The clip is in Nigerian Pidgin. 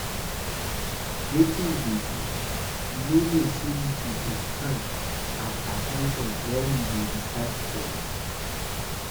Wetin you dey do? You no know say you suppose stand at at ten tion wen we dey recite pledge